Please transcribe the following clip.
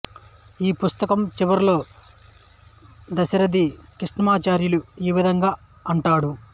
ఈ పుస్తకం చివరలో దాశరథి కృష్ణమాచార్యులు ఈ విధంగా అంటాడు